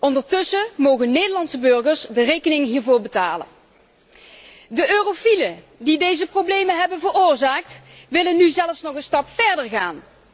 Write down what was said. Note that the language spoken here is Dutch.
Ondertussen mogen Nederlandse burgers de rekening hiervoor betalen. De eurofielen die deze problemen hebben veroorzaakt, willen nu zelfs nog een stap verder gaan.